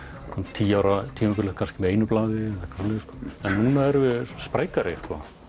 tíu ára tímabil kannski með einu blaði en núna erum við sprækari